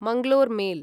Mangalore mail